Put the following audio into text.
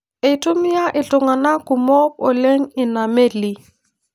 Eitumia iltung'anak kumok oleng' ina meli